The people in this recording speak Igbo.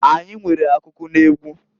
Anyi nwere akụkụ n'egwu.